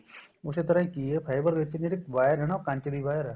ਉਸੇ ਤਰ੍ਹਾਂ ਕੀ ਏ fiber ਵਿਚਲੀ ਜਿਹੜੀ wire ਏ ਨਾ ਉਹ ਕੰਚ ਦੀ wire ਏ